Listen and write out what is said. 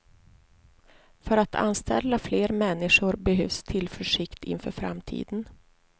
För att anställa fler människor behövs tillförsikt inför framtiden.